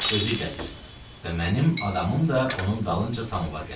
Özü gəlir və mənim adamım da onun dalınca samovar gətirir.